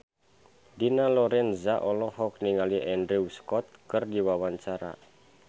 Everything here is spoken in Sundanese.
Dina Lorenza olohok ningali Andrew Scott keur diwawancara